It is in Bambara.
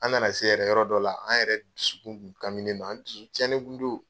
An na na se yɛrɛ yɔrɔ dɔ la an yɛrɛ dusukun kun kaminen do an dusu cɛnnen kun do.